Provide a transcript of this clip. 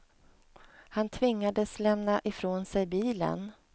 Han tvingades lämna ifrån sig bilen.